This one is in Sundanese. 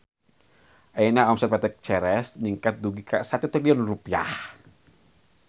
Ayeuna omset PT Ceres ningkat dugi ka 1 triliun rupiah